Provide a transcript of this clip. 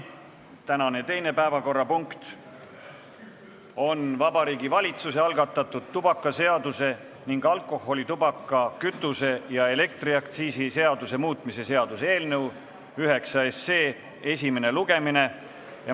Tänane teine päevakorrapunkt on Vabariigi Valitsuse algatatud tubakaseaduse ning alkoholi-, tubaka-, kütuse- ja elektriaktsiisi seaduse muutmise seaduse eelnõu 9 esimene lugemine.